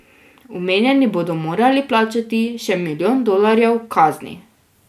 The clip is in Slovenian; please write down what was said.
Omenjeni bodo morali plačati še milijon dolarjev kazni.